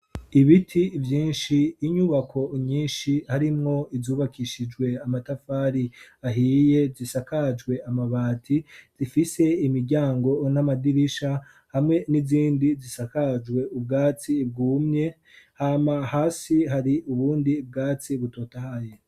Ibiti vyinsh, inyubako nyinshi harimwo izubakishijwe amatafari ahiye zisakajwe amabati, zifise imiryango n'amadirisha hamwe n'izindi zisakajwe ubwatsi bwumye, hama hasi hari ubundi bwatsi butotahaye.